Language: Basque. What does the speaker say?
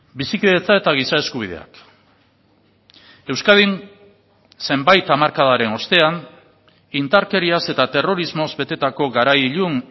bizikidetza eta giza eskubideak euskadin zenbait hamarkadaren ostean indarkeriaz eta terrorismoz betetako garai ilun